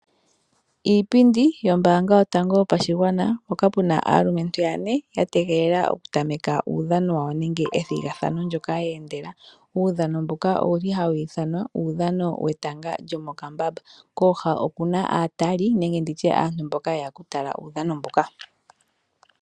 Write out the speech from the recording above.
Iipindi yombanga yotango yopashigwana mpoka pu na aalumentu yane ya tegelela okutameka uudhano wawo nenge ethigathano ndyoka yeendela. Uudhano mbuka owuli ha wu ithanwa uudhano wetanga lyomokambamba. Kooha okuna aatali nenge nditye aantu mboka yeya okutala uudhano mbuka.